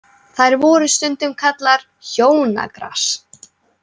Þær voru stundum kallaðar hjónagras.